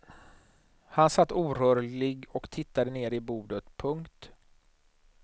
Han satt orörlig och tittade ner i bordet. punkt